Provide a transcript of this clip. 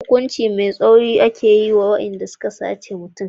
Hukunci mai tsauri ake yi wa waɗanda suka sace mutum.